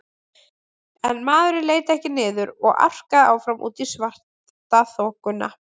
En maðurinn leit ekki niður og arkaði áfram út í svartaþokuna.